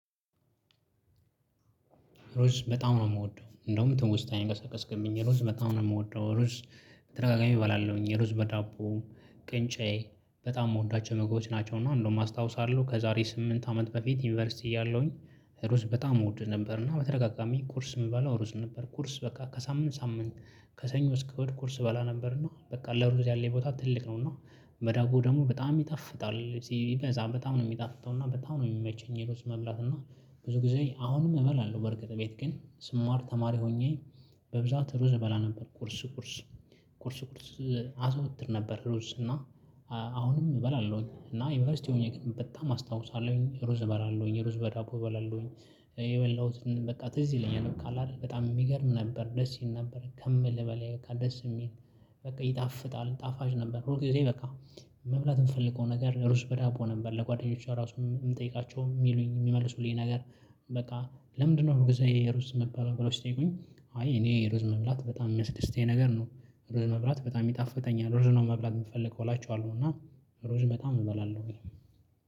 ሩዝ በጣም ነው የምወደው። እንደውም ትውስታየን ቀሰቀስክብኝ ሩዝ በጣም ነው የምወደው። ሩዝ ተ፣ በደጋጋሚ እባላለሁኝ። የሩዝ በዳቦ ቅንጨ በጣም የምወዳቸው ምግቦች ናቸው። እና እንደውም አስታውሳለሁ ከዛሬ ስምንት አመት በፊት ዩኒቨርሲቲ እያለሁኝ ሩዝ በጣም እወድ ነበር። እና በተደጋጋሚ ቁርስ የምባለው ሩዝ ነበር። ቁርስ በቃ ከሳምንት ሳምንት ከሰኞ እስከ እሁድ ቁርስ እበላ ነበር። እና በቃ ለሩዝ ያለኝ ቦታ ትልቅ ነው። እና በዳቦ ደግሞ በጣም ይጣፍጣል። ሲበዛ በጣም ነው የሚጣፍጠው። እና በጣም ነው የሚመቸኝ ሩዝ መብላት። እና ብዙ ጊዜ አሁንም እበላለሁ በርግጥ ቤት ግን ስማር ተማሪ ሆኜ በብዛት ሩዝ እበላ ነበር ቁርስ ቁርስ ቁርስ አዘወትር ነበር ሩዝ። እና አሁንም እበላለሁኝ። እና ዩኒቨርሲቲ ሆኜ ግን በጣም አስታውሳለሁኝ ሩዝ እበላለሁኝ። ሩዝ በዳቦ እበላለሁኝ። የበላሁትን በቃ ትዝ ይለኛል። በቃ አትደል በጣም የሚገርም ነበር። ደስ ይል ነበር። ከምልህ በላይ በቃ ደስ የሚል በቃ ይጣፍጣል ጣፋጭ ነበር። ሁል ጊዜ በቃ መብላት የምፈልገው ነገር ሩዝ በዳቦ ነበር። ለጓደኞቿ ራሱ ብጠይቃቸው የሚሉኝ የሚመልሱልኝ ነገር በቃ ለምንድነው ሁል ጊዜ ሩዝ የምትበላው? ብለው ሲጠይቁኝ፥ አይ እኔ ሩዝ መብላት በጣም የሚያስደስተኝ ነገር ነው። ሩዝ መብላት በጣም ይጣፍጠኛል። ሩዝ ነው መብላት የምፈልገው እላቸዋለሁ። እና ሩዝ በጣም እበላለሁኝ።